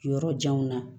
Yɔrɔ janw na